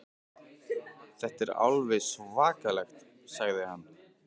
Þetta er alveg svakalegt sagði hann.